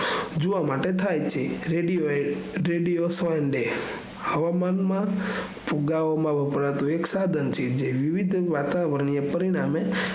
જોવા માટે થાય છે રેડિયોએ રેડીયો folde હવામાન માં ફુગાવામાં વપરાતું એક સાઘન છે જે મીથ વતાવણીય પરિણામે